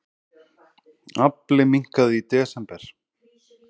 Afli minnkaði í desember